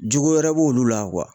Jugu wɛrɛ b'olu la